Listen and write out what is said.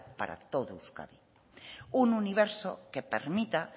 para todo euskadi un universo que permita